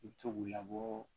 I bɛ to k'u labɔ